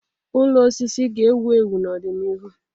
Ụlọ osisi ga-ewu ewu n'ọdịnihu.